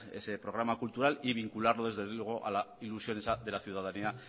ese programa cultural y vincularlo desde luego la ilusión esa de la ciudadanía